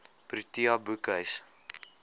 protea boekhuis